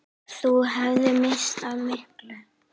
Þú hefðir misst af miklu!